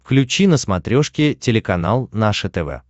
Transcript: включи на смотрешке телеканал наше тв